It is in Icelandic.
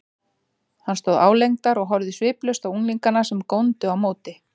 Hann stóð álengdar og horfði sviplaust á unglingana, sem góndu á móti.